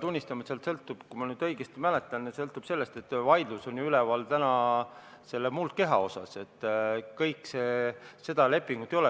tunnistama, et see sõltub, kui ma nüüd õigesti mäletan, sellest, et vaidlus on ju muldkeha üle, seda lepingut ei olegi.